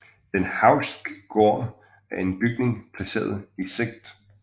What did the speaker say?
Den Hauchske Gård er en bygning placeret i Sct